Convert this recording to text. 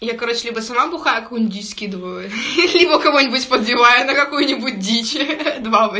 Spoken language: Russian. я короче либо сама бухая какую нибудь дичь скидываю либо кого-нибудь подбиваю на какую-нибудь дичь два ва